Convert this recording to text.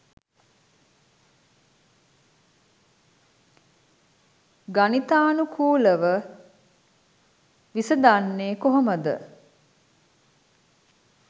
ගණිතානුකූලව විසඳන්නෙ කොහොමද